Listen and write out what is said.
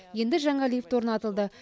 енді жаңа лифт орнатылды